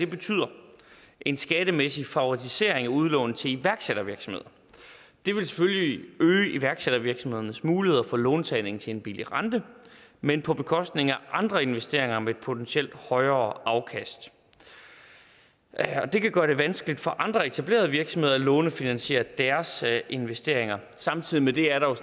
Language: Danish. betyder en skattemæssig favorisering af udlån til iværksættervirksomhed det vil selvfølgelig øge iværksættervirksomhedernes muligheder for låntagning til en billig rente men på bekostning af andre investeringer med potentielt højere afkast og det kan gøre det vanskeligt for andre etablerede virksomheder at lånefinansiere deres investeringer samtidig med det er der